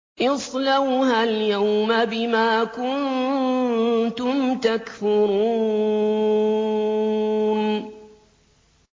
اصْلَوْهَا الْيَوْمَ بِمَا كُنتُمْ تَكْفُرُونَ